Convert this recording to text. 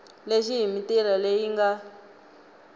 lexi hi mitila leyi nga